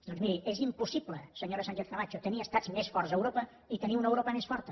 doncs miri és impossible senyora sánchez camacho tenir estats més forts a europa i tenir una europa més forta